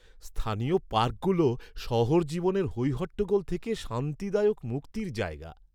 স্থানীয় পার্কগুলো শহর জীবনের হইহট্টগোল থেকে শান্তিদায়ক মুক্তির জায়গা।